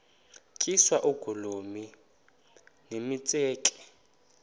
tyiswa oogolomi nemitseke